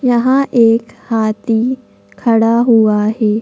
यहां एक हाथी खड़ा हुआ है।